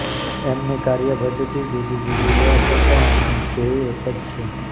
એમની કાર્યપદ્ધતિ જુદી જુદી હોવા છતાં એમનું ધ્યેય એક જ છે